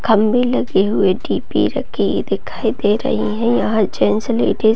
खम्बे लगे हुए टी.वी. रखी दिखाई दे रही है यहाँ जेंट्स लेडिज --